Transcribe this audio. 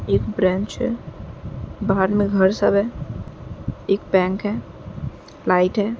ए branch है। बाहर में घर सब है। एक बैंक है लाइट है।